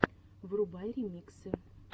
врубай ремиксы